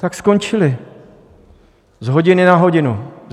Tak skončili z hodiny na hodinu.